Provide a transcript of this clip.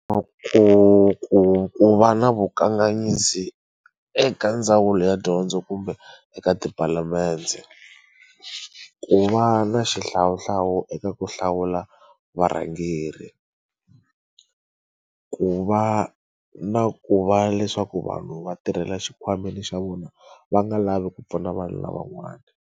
Ku ku ku va na vukanganyisi eka ndzawulo ya dyondzo kumbe eka tipalamende ku va na xihlawuhlawu eka ku hlawula varhangeri ku va na ku va leswaku vanhu va tirhela xikhwameni xa vona va nga lavi ku pfuna vanhu lavan'wana.